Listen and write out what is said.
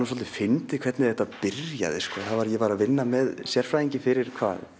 svolítið fyndið hvernig þetta byrjaði ég var að vinna með sérfræðingi fyrir